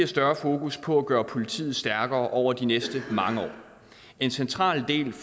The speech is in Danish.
større fokus på at gøre politiet stærkere over de næste mange år en central del